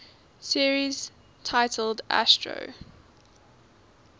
series titled astro